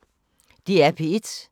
DR P1